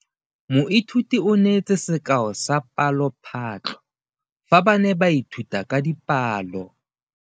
Moithuti o neetse sekaô sa palophatlo fa ba ne ba ithuta dipalo.